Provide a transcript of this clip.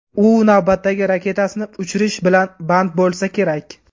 U navbatdagi raketasini uchirish bilan band bo‘lsa kerak.